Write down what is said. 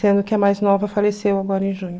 Sendo que a mais nova faleceu agora em junho.